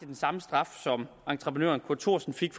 den samme straf som entreprenøren kurt thorsen fik